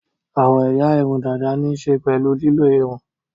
Àwọn ẹ̀yà irun dàda ní í ṣe pẹ̀lú lílọ́ irun